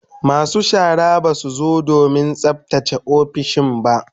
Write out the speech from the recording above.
Masu shara ba su zo don tsaftace ofisoshin ba